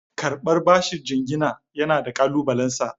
Karɓar bashin jingina yana da ƙalubalensa.